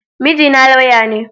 Mijina laywa ne.